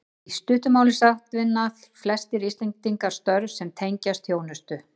Í stuttu máli sagt vinna flestir Íslendingar störf sem tengjast þjónustu.